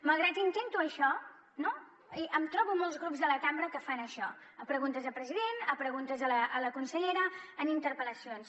malgrat que intento això no em trobo molts grups a la cambra que fan això a preguntes a president a preguntes a la consellera en interpel·lacions